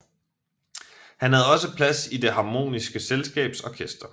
Han havde også plads i Det Harmoniske Selskabs orkester